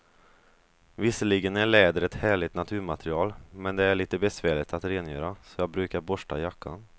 Visserligen är läder ett härligt naturmaterial, men det är lite besvärligt att rengöra, så jag brukar borsta jackan.